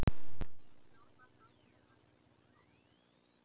Stjórnandi aðgerðanna greindi frá þessu